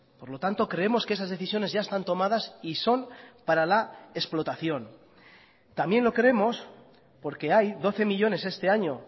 por lo tanto creemos que esas decisiones ya están tomadas y son para la explotación también lo creemos porque hay doce millónes este año